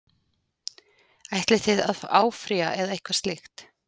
Ætlið þið að áfrýja eða eitthvað slíkt?